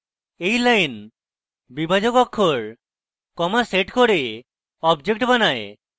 এই line বিভাজক অক্ষর comma সেট করে object বানায়